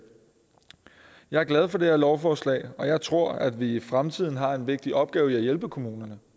jeg er glad for det her lovforslag og jeg tror at vi i fremtiden har en vigtig opgave i at hjælpe kommunerne